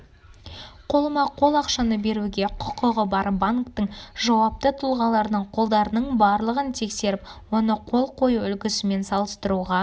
қолма-қол ақшаны беруге құқығы бар банктің жауапты тұлғаларының қолдарының барлығын тексеріп оны қол қою үлгісімен салыстыруға